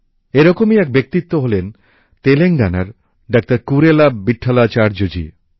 এরকমই এক ব্যক্তিত্ব হলেন তেলেঙ্গানার ডাক্তার কুরেলা ভিটঠালাচার্য জি